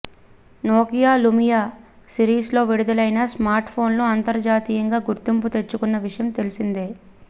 Nokia Lumia series లో విడుదలైన smart ఫోన్లు అంతర్జాతీయంగా గుర్తింపు తెచ్చుకున్న విషయం తెలిసిందే